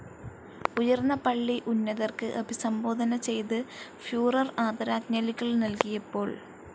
ഉയർന്ന പള്ളി ഉന്നതർക്ക് അഭിസംബോധന ചെയ്ത് ഫ്യൂറർ ആദരാജ്ഞലികൾ നൽകിയപ്പോൾ.